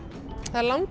það er